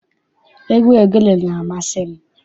Egwu ogene na-amasị m.